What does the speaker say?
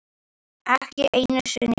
Ekki einu sinni ég!